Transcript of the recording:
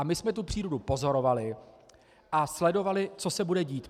A my jsme tu přírodu pozorovali a sledovali, co se bude dít.